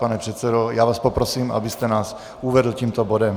Pane předsedo, já vás poprosím, abyste nás provedl tímto bodem.